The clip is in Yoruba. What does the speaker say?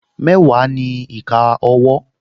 Mẹ́wàá ni ìka owó